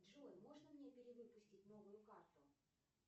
джой можно мне перевыпустить новую карту